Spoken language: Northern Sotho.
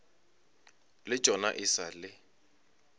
le tšona e sa le